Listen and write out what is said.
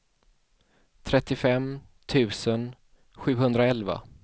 trettiofem tusen sjuhundraelva